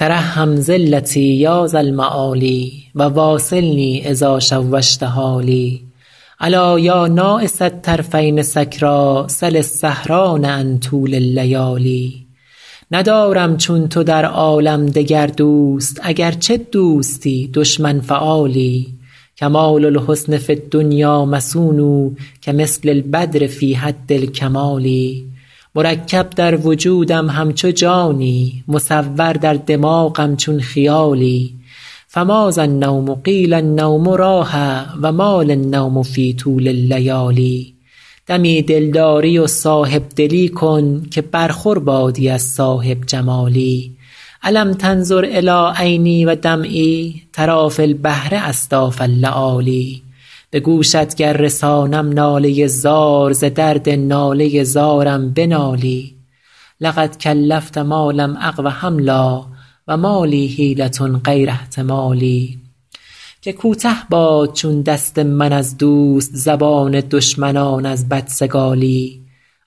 ترحم ذلتی یا ذا المعالی و واصلنی اذا شوشت حالی ألا یا ناعس الطرفین سکریٰ سل السهران عن طول اللیالی ندارم چون تو در عالم دگر دوست اگرچه دوستی دشمن فعالی کمال الحسن فی الدنیا مصون کمثل البدر فی حد الکمال مرکب در وجودم همچو جانی مصور در دماغم چون خیالی فماذا النوم قیل النوم راحه و ما لی النوم فی طول اللیالی دمی دلداری و صاحب دلی کن که برخور بادی از صاحب جمالی ألم تنظر إلی عینی و دمعی تری فی البحر أصداف اللآلی به گوشت گر رسانم ناله زار ز درد ناله زارم بنالی لقد کلفت ما لم أقو حملا و ما لی حیلة غیر احتمالی که کوته باد چون دست من از دوست زبان دشمنان از بدسگالی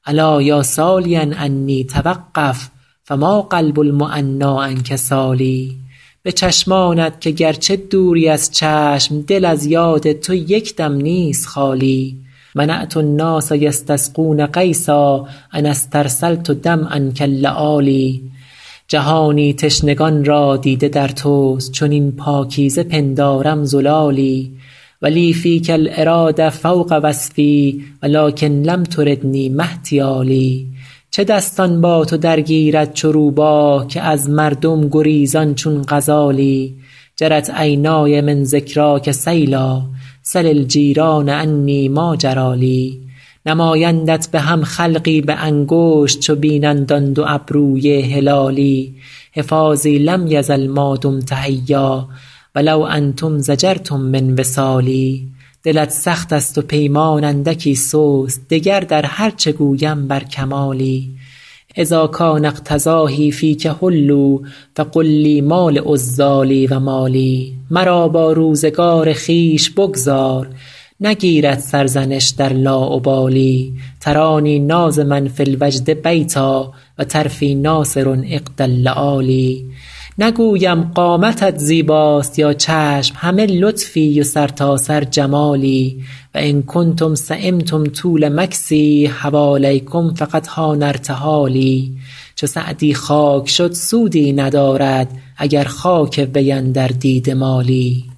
الا یا سالیا عنی توقف فما قلب المعنیٰ عنک سال به چشمانت که گرچه دوری از چشم دل از یاد تو یک دم نیست خالی منعت الناس یستسقون غیثا أن استرسلت دمعا کاللآلی جهانی تشنگان را دیده در توست چنین پاکیزه پندارم زلالی و لی فیک الإراده فوق وصف و لکن لم تردنی ما احتیالی چه دستان با تو درگیرد چو روباه که از مردم گریزان چون غزالی جرت عینای من ذکراک سیلا سل الجیران عنی ما جری لی نمایندت به هم خلقی به انگشت چو بینند آن دو ابروی هلالی حفاظی لم یزل ما دمت حیا و لو انتم ضجرتم من وصالی دلت سخت است و پیمان اندکی سست دگر در هر چه گویم بر کمالی اذا کان افتضاحی فیک حلوا فقل لی ما لعذالی و ما لی مرا با روزگار خویش بگذار نگیرد سرزنش در لاابالی ترانی ناظما فی الوجد بیتا و طرفی ناثر عقد اللآلی نگویم قامتت زیباست یا چشم همه لطفی و سرتاسر جمالی و ان کنتم سیمتم طول مکثی حوالیکم فقد حان ارتحالی چو سعدی خاک شد سودی ندارد اگر خاک وی اندر دیده مالی